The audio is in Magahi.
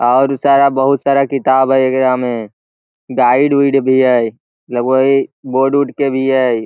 और सारा बहुत सारा किताब हेय एकरा में गाइड उइड भी है लगभग इ बोर्ड उर्ड के भी हेय।